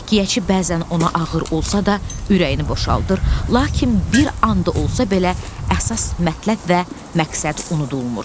Təhkiyəçi bəzən ona ağır olsa da ürəyini boşaldır, lakin bir an da olsa belə əsas mətləb və məqsəd unudulmur.